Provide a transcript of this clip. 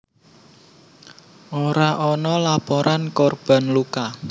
Ora ana laporan korban luka